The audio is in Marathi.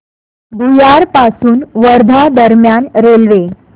भुयार पासून वर्धा दरम्यान रेल्वे